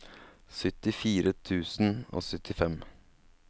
syttifire tusen og syttifem